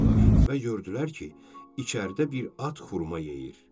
Və yürüdülər ki, içəridə bir at xurma yeyir.